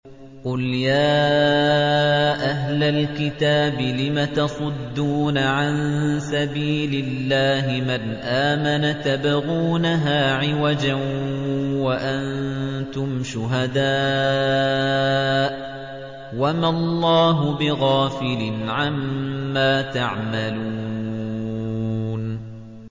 قُلْ يَا أَهْلَ الْكِتَابِ لِمَ تَصُدُّونَ عَن سَبِيلِ اللَّهِ مَنْ آمَنَ تَبْغُونَهَا عِوَجًا وَأَنتُمْ شُهَدَاءُ ۗ وَمَا اللَّهُ بِغَافِلٍ عَمَّا تَعْمَلُونَ